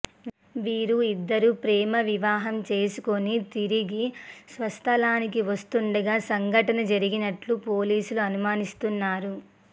వీరు ఇద్దరు ప్రేమ వివాహం చేసుకుని తిరిగి స్వస్థలానికి వస్తుండగా సంఘటన జరిగినట్టు పోలీసులు అనుమానిస్తున్నారు